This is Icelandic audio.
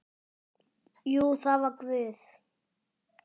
Jú, það var Guð.